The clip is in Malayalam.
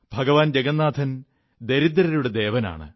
ഭഗവാൻ ജഗന്നാഥൻ ദരിദ്രരുടെ ദേവനാണ്